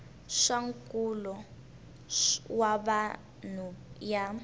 swa nkulo wa vanhu ya